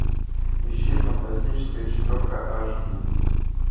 ищи фантастическая четверка аш ди